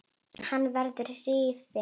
Hann verður rifinn.